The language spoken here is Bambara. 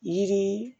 Yiri